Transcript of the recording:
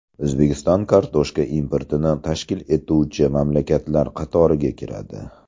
O‘zbekiston kartoshka importini tashkil etuvchi mamlakatlar qatoriga kiradi.